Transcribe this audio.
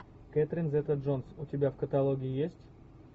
кэтрин зета джонс у тебя в каталоге есть